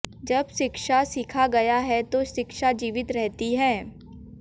जब शिक्षा सीखा गया है तो शिक्षा जीवित रहती है